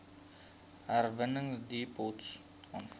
herwinningsdepots aanvaar